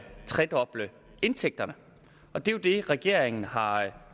tredoble indtægterne og det er jo det regeringen har